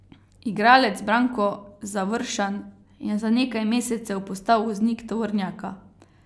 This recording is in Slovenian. Igralec Branko Završan je za nekaj mesecev postal voznik tovornjaka.